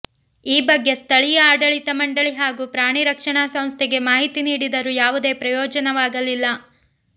ಈ ಬಗ್ಗೆ ಸ್ಥಳೀಯ ಆಡಳಿತ ಮಂಡಳಿ ಹಾಗೂ ಪ್ರಾಣಿ ರಕ್ಷಣಾ ಸಂಸ್ಥೆಗೆ ಮಾಹಿತಿ ನೀಡಿದರೂ ಯಾವುದೇ ಪ್ರಯೋಜನವಾಗಲಿಲ್ಲ